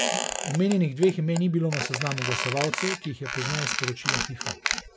Omenjenih dveh imen ni bilo na seznamu glasovalcev, ki jih je pozneje sporočila Fifa.